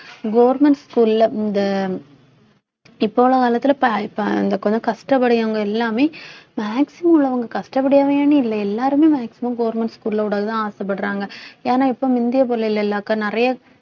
government school ல இந்த இப்ப உள்ள காலத்துல இப்ப இப்ப அங்க கொஞ்சம் கஷ்டப்படுறவங்க எல்லாமே maximum உள்ளவங்க கஷ்டப்படுவாங்கன்னு இல்லை எல்லாருமே maximum government school ல விடதான் ஆசைப்படுறாஙக ஏன்னா இப்போ முந்திய போல் இல்லைல அக்கா நிறைய